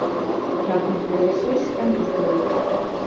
Kjarnorkuver í Sviss endurskoðuð